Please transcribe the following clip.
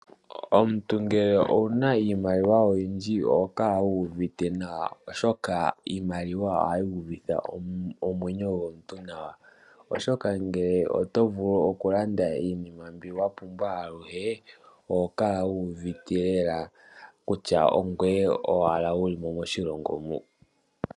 Omuntu ngele owuna iimaliwa oyindji oho kala wuuvite nawa oshoka iimaliwa ohayi uvitha omwenyo gomuntu nawa, oshoka ngele oto vulu okulanda iinima mbiwapumbwa yoye oho kala wuuvite lela kutya ongoye owala wulimo moshilongo mu.